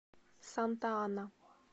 санта ана